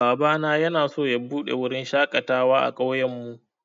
Babana yanaso ya buɗe wurin shaƙatawa a ƙauyen mu